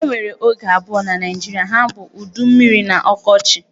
E nwere oge abụọ na Naịjirịa, ha bụ udu mmiri na ọkọchi.